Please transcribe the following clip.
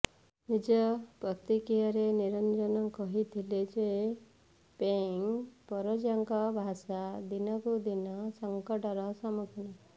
ନିଜ ପ୍ରତିକ୍ରିୟାରେ ନିରଂଜନ କହିଥିଲେ ଯେ ପେଙ୍ଗ ପରଜାଙ୍କ ଭାଷା ଦିନକୁ ଦିନ ସଙ୍କଟର ସମ୍ମୁଖୀନ